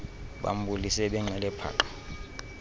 bambulise benxile paqa